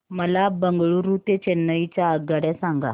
मला बंगळुरू ते चेन्नई च्या आगगाड्या सांगा